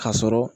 Ka sɔrɔ